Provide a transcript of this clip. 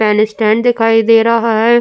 Pen stand दिखाई दे रहा है।